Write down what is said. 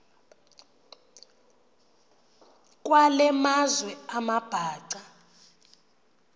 kwale meazwe amabhaca